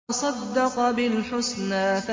وَصَدَّقَ بِالْحُسْنَىٰ